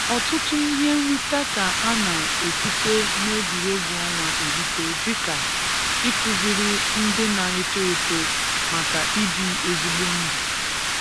Ọtụtụ ihe nrita ka a na-esite n'egwuregwu ọnwa erita dika; ịkuziri ndị na-eto eto maka ibi ezigbo ndụ